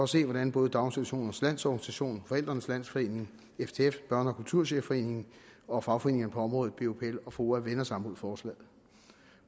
se hvordan både daginstitutionernes lands organisation forældrenes landsforening ftf børne og kulturchefforeningen og fagforeningerne på området bupl og foa vender sig mod forslaget